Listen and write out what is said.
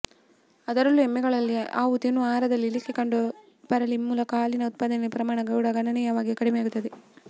ಅದರಲ್ಲೂ ಎಮ್ಮೆಗಳಲ್ಲಿ ಅವು ತಿನ್ನುವ ಆಹಾರದಲ್ಲಿ ಇಳಿಕೆ ಕಂಡು ಬರುವ ಮೂಲಕ ಹಾಲಿನ ಉತ್ಪಾದನೆಯ ಪ್ರಮಾಣ ಕೂಡ ಗಣನೀಯವಾಗಿ ಕಡಿಮೆಯಾಗುತ್ತದೆ